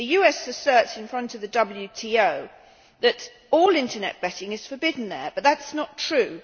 The US asserts in front of the WTO that all Internet betting is forbidden there, but that is not true.